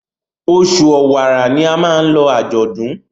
Oṣù Ọ̀wàrà ní a má ló ajọdún.